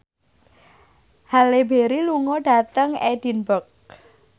Halle Berry lunga dhateng Edinburgh